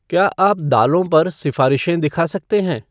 क्या आप दालों पर सिफारिशें दिखा सकते हैं?